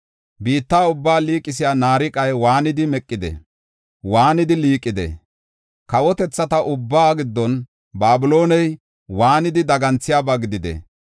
Biitta ubbaa liiqisiya naariqay waanidi meqide! Waanidi liiqide! Kawotethata ubbaa giddon Babilooney waanidi daganthiyaba gidide!